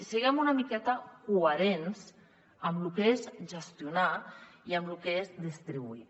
siguem una miqueta coherents amb lo que és gestionar i amb lo que és distribuir